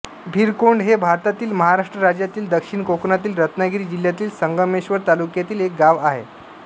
भिरकोंड हे भारतातील महाराष्ट्र राज्यातील दक्षिण कोकणातील रत्नागिरी जिल्ह्यातील संगमेश्वर तालुक्यातील एक गाव आहे